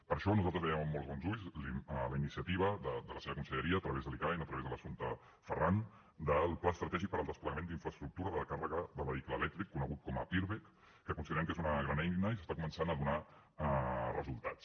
per això nosaltres veiem amb molts bons ulls la iniciativa de la seva conselleria a través de l’icaen a través de l’assumpta ferran del pla estratègic per al desplegament d’infraestructures de recàrrega per al vehicle elèctric conegut com a pirvec que considerem que és una gran eina i ja està començant a donar resultats